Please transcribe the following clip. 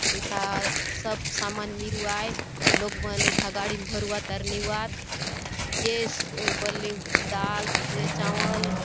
एथा सब सामान मिरू आय लोग मन एथा गाड़ी मे भरु आत आउर नेउआत जेस बल्ले दाल चावल--